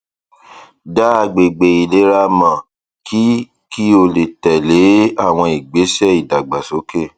dá agbègbè àìlera mọ kí kí o tẹlé àwọn ìgbésẹ ìdàgbàsókè